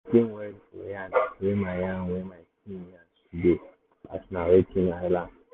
i lis ten well for yarn wey my yarn wey my team yarn today as na wetin i learn.